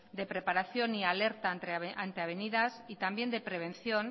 de preparación y alerta ante avenidas y también de prevención